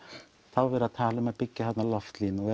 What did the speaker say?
það var verið að tala um að byggja þarna loftlínur og